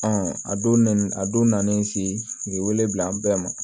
a donni a don nalen se nin wele bila an bɛɛ ma